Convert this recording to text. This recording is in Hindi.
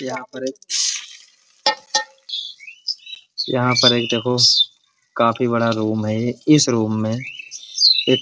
यहाँ पर एक यहाँ पर एक देखो काफी बड़ा रूम है। इस रूम मे एक --